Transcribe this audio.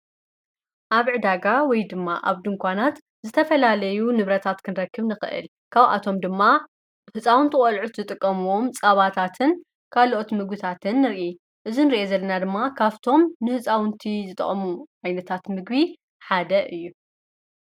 ኣብ ዕዳጋ ወይ ድማ ኣብዲ እንኳናት ዝተፈላለዩ ንብረታት ክንረክብ ንኽእል ካውኣቶም ድማ ሕፃውንቲ ወልዑት ዝጥቀምዎም ፃባታትን ካልኦት ምጉታትን ንርኢ እዝን ርአ ዘለና ድማ ካፍቶም ንሕፃውንቱ ዝጠቐሙ ኣይነታት ምግቢ ሓደ እዩ።